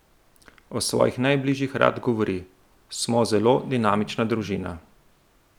O svojih najbližjih rad govori: "Smo zelo dinamična družina.